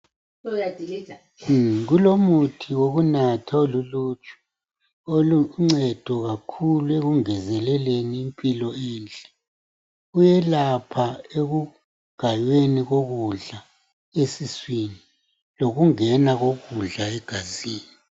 Kulomuthi oluluju oluncedo kakhulu ekungezeleleni impilo enhle. Kuyelapha ekugayweni kokudla esiswini. Lokungena kokudla egazini.